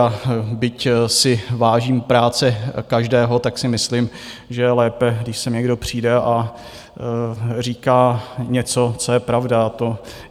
A byť si vážím práce každého, tak si myslím, že je lépe, když sem někdo přijde a říká něco, co je pravda.